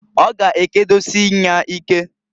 Ọ ga ekedosie nya ike.